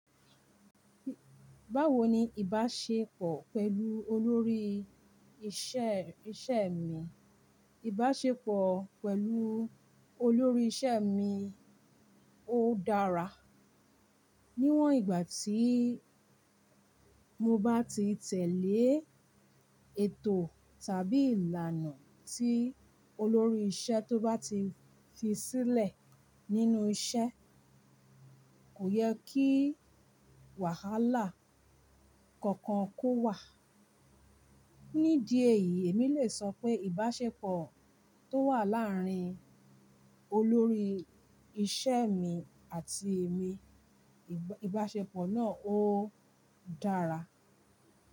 Báwo ni ìbáṣepọ̀ pẹ̀lú olórí iṣẹ́, iṣẹ́ mi? Ìbáṣepọ̀ pẹ̀lú olórí iṣẹ́ mi ó dára. Níwọ̀n ìgbà tí mo bá ti tẹ̀lé ètò tàbí ìlànà tí olórí ìṣe tó bá ti fi sílẹ̀ nínú iṣẹ́, kò yẹ kí wàhálà kankan kó wà. Nídi èyí èmi lè sọ pé ìbáṣepọ̀ tó wà láàárín olórí iṣẹ́ mi àti èmi, ìbáṣepọ̀ náà ó dára.